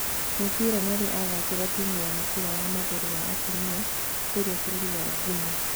Moriba nĩarĩ athakĩra timũ ya mũbira wa magũrũ wa atumia kũrĩa bũrũri wa Guinea